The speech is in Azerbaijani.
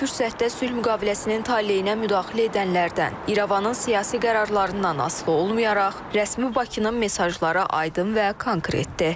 Hər fürsətdə sülh müqaviləsinin taleyinə müdaxilə edənlərdən, İrəvanın siyasi qərarlarından asılı olmayaraq, rəsmi Bakının mesajları aydın və konkretdir.